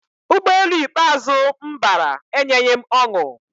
Ụgbọelu ikpeazụ m bara enyeghị m ọṅụ